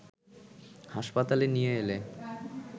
হাসপাতালে নিয়ে এলে